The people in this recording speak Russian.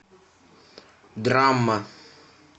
драма